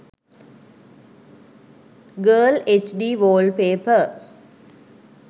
girl hd wallpaper